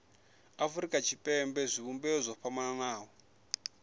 afurika tshipembe zwivhumbeo zwo fhambanaho